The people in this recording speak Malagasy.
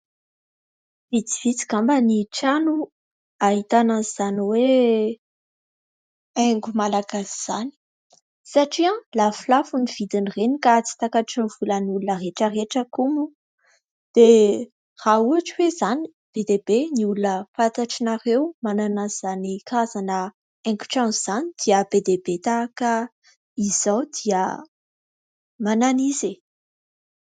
Vitsivitsy angamba ny trano ahitana an'izany hoe haingo Malagasy izany satria lafolafo ny vidin'ireny ka tsy takatry ny volan'olona rehetra rehetra koa moa. Dia raha ohatra hoe izany be dia be ny olona fantatrareo manana an'izany karazana haingon-trano izany dia be dia be tahaka izao dia manana izy e !